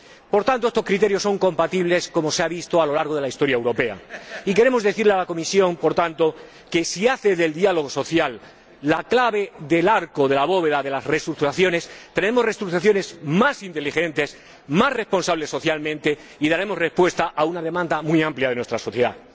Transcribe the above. Por tanto, estos criterios son compatibles, como se ha visto a lo largo de la historia europea. Queremos decirle a la Comisión, por tanto, que, si hace del diálogo social la clave del arco de la bóveda de las reestructuraciones, tendremos reestructuraciones más inteligentes, más responsables socialmente, y daremos respuesta a una demanda muy amplia de nuestra sociedad.